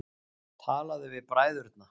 Talaðu við bræðurna.